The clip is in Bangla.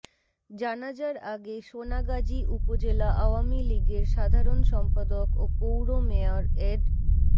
জানাজার আগে সোনাগাজী উপজেলা আওয়ামী লীগের সাধারণ সম্পাদক ও পৌর মেয়র এড